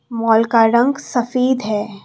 Mall का रंग सफेद है।